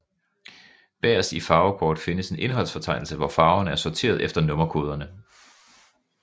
Bagerst i farvekort findes en indholdsfortegnelse hvor farverne er sorteret efter nummerkoderne